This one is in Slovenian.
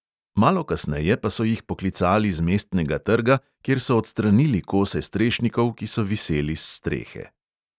Malo kasneje pa so jih poklicali z mestnega trga, kjer so odstranili kose strešnikov, ki so viseli s strehe.